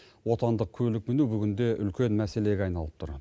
отандық көлік міну бүгінде үлкен мәселеге айналып тұр